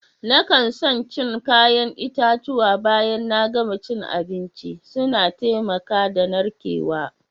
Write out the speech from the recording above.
Na kan son cin kayan itatuwa baya na gama cin abinci. Suna taimaka da narkewa.